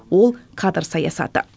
ол кадр саясаты